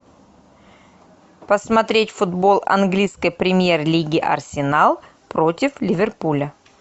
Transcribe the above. посмотреть футбол английской премьер лиги арсенал против ливерпуля